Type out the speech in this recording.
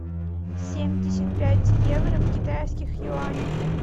семьдесят пять евро в китайских юанях